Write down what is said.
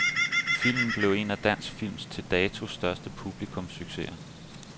Filmen blev en af dansk films til dato største publikumssucceser.